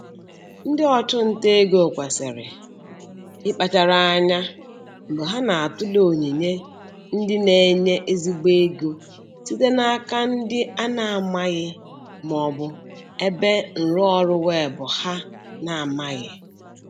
Ndị ọchụnta ego kwesịrị ịkpachara anya mgbe ha na-atụle onyinye ndị na-enye ezigbo ego site n'aka ndị a na-amaghị ma ọ bụ ebe nrụọrụ weebụ ha na-amaghị.